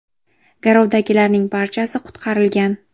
Garovdagilarning barchasi qutqarilgan.